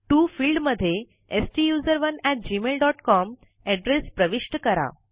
TO field मध्ये STUSERONEgmailcom address प्रविष्ट करा